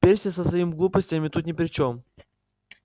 перси со своими глупостями тут ни при чём